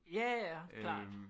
Ja ja klart